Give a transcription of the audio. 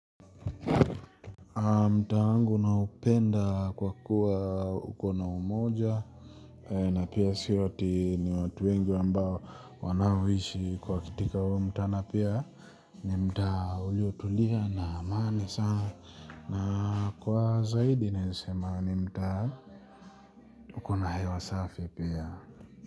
Mtaa wangu naupenda kwa kuwa ukona umoja. Na pia sio ati ni watu wengi ambao wanaoishi kwa katika huo mtaa na pia ni mtaa uliotulia na amani sana. Na kwa zaidi naeza sema ni mtaa ukona hewa safi pia.